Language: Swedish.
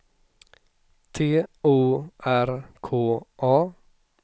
T O R K A